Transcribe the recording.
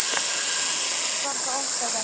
Og allt var það okkar verk.